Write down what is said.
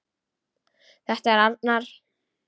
Það er arnar.